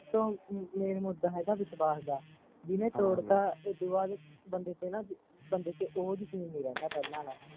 ਸਭ ਤੋਂ main ਮੁੱਦਾ ਹੈਗਾ ਵਿਸ਼ਵਾਸ਼ ਦਾ ਜਿਹਣੇ ਤੋੜਤਾ ਏਹਦੂ ਬਾਦ ਬੰਦੇ ਤੇ ਹੈਨਾ ਬੰਦੇ ਤੇ ਉਹ ਯਕੀਨ ਨੀ ਰਹਿੰਦਾ ਪਹਿਲਾਂ ਆਲਾ